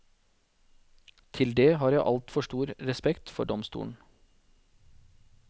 Til det har jeg altfor stor respekt for domstolen.